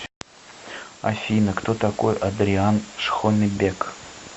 афина кто такой адриан шхонебек